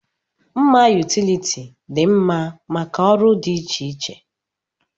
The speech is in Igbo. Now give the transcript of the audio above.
Mma yutility dị mma maka ọrụ dị iche iche.